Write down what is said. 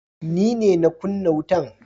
Ni ne na kunna wutan.